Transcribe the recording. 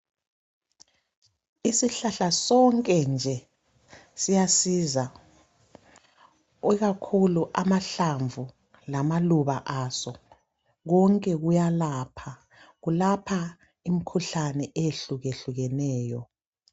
Isihlahla sonke nje siyasiza ikakhulu amahlamvu lamaluba aso konke kuyalapha, kulapha imikhuhlane eyehlukehlukeneyo.